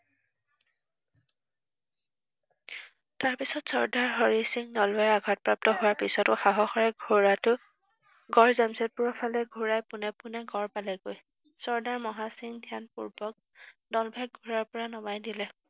তাৰপিছত চৰ্দাৰ হৰি সিং নলোৱাই আঘাতপ্ৰাপ্ত হোৱাৰ পিছতো সাহসেৰে ঘোঁৰাটো গড় জামচেদপুৰৰ ফালে ঘূৰাই পোনে পোনে গড় পালেগৈ। চৰ্দাৰ মহাসিং ধ্যানপূৰ্বক নলভেক ঘোঁৰাৰ পৰা নমাই দিলে।